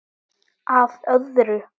Að öðru.